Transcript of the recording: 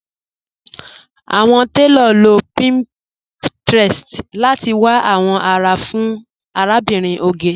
Awọn tẹlọ ló pinterest láti wà awọn ará fún Àlàbírín Ògè.